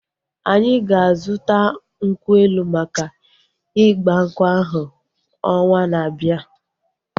Anyị ga-azuta nkwụ elu maka igbankwu ahu ọnwaa na-abia